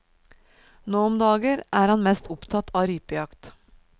Nå om dagen er han mest opptatt av rypejakt.